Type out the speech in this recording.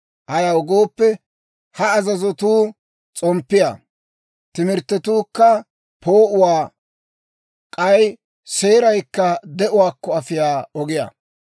Ayaw gooppe, ha azazotuu s'omppiyaa; timirttetuukka poo'uwaa; k'ay seeraykka de'uwaakko afiyaa ogiyaa.